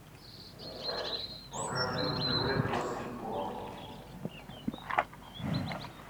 покажи на тв пес и ко